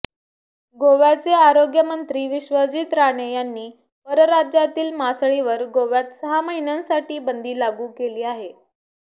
गोव्याचे आरोग्य मंत्री विश्वजीत राणे यांनी परराज्यातील मासळीवर गोव्यात सहा महिन्यांसाठी बंदी लागू केली आहे